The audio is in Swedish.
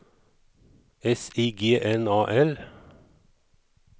S I G N A L